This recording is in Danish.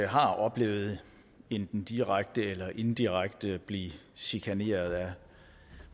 har oplevet enten direkte eller indirekte at blive chikaneret af